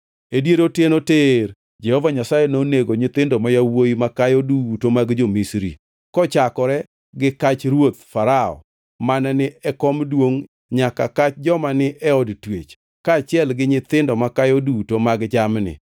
E dier otieno tir Jehova Nyasaye nonego nyithindo ma yawuowi makayo duto mag jo-Misri, kochakore gi kach ruoth Farao mane ni e kom duongʼ nyaka kach joma ni e od twech, kaachiel gi nyithindo makayo duto mag jamni.